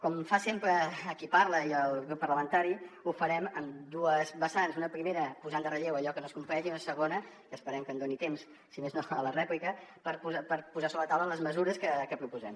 com fa sempre qui parla i el grup parlamentari ho farem en dues vessants una primera posant en relleu allò que no es compleix i una segona que esperem que em doni temps si més no a la rèplica per posar sobre la taula les mesures que proposem